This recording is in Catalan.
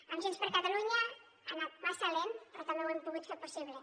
amb junts per catalunya ha anat massa lent però també ho hem pogut fer possible